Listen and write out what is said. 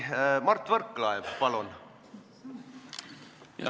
Mart Võrklaev, palun!